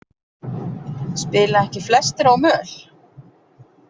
Spila ekki flestir á möl?